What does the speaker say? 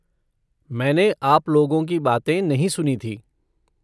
मैंने आप लोगों की बातें नहीं सुनी थीं।